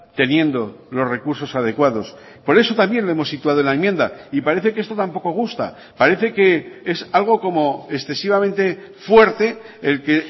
teniendo los recursos adecuados por eso también lo hemos situado en la enmienda y parece que esto tampoco gusta parece que es algo como excesivamente fuerte el que